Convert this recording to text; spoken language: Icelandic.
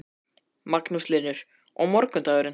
Magnús Hlynur: Og morgundagurinn?